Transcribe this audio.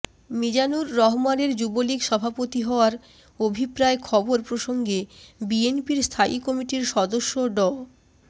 মীজানুর রহমানের যুবলীগ সভাপতি হওয়ার অভিপ্রায় খবর প্রসঙ্গে বিএনপির স্থায়ী কমিটির সদস্য ড